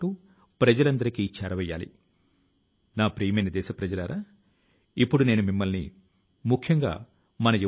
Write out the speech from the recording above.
అదేవిధం గా పర్యావరణ మంత్రిత్వ శాఖ దాని ఖాళీ గా ఉన్న జంక్యార్డ్ ను వెల్నెస్ సెంటర్ గా మార్చింది